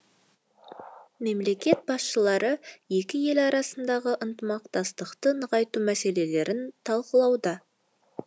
мемлекет басшылары екі ел арасындағы ынтымақтастықты нығайту мәселелерін талқылады